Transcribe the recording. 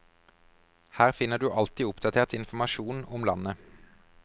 Her finner du alltid oppdatert informasjon om landet.